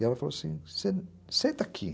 E ela falou assim, sen senta aqui.